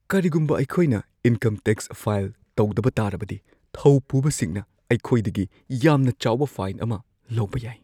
ꯀꯔꯤꯒꯨꯝꯕ ꯑꯩꯈꯣꯏꯅ income tax file ꯇꯧꯗꯕ ꯇꯥꯔꯕꯗꯤ, ꯊꯧꯄꯨꯕꯁꯤꯡꯅ ꯑꯩꯈꯣꯏꯗꯒꯤ ꯌꯥꯝꯅ ꯆꯥꯎꯕ ꯐꯥꯏꯟ ꯑꯃ ꯂꯧꯕ ꯌꯥꯏ꯫